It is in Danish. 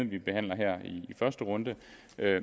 vi behandler her i første runde